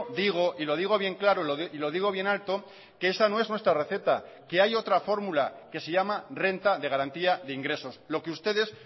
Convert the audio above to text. digo y lo digo bien claro y lo digo bien alto que esa no es nuestra receta que hay otra fórmula que se llama renta de garantía de ingresos lo que ustedes